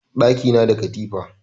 Ɗaki na da katifa